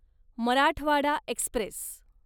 Marathwada Express